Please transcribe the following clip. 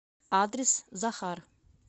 адрес захар